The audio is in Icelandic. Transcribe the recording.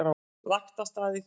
Lagt af stað hringinn